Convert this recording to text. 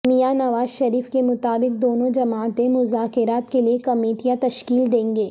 میاں نواز شریف کے مطابق دونوں جماعتیں مذاکرات کے لیے کمیٹیاں تشکیل دیں گے